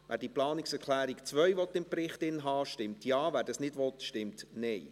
Wer die Planungserklärung 2 im Bericht haben will, stimmt Ja, wer dies ablehnt, stimmt Nein.